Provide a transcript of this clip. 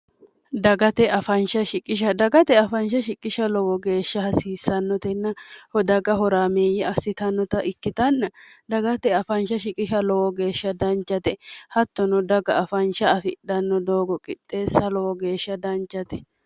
dgatfdagate afaansha shiqqisha lowo geeshsha hasiissannotenna hodaga horaamiiyyi assitannota ikkitanna dagate afaansha shiqisha lowo geeshsha dancate hattono daga afaansha afidhanno doogo qixxeessa lowo geeshsha dancate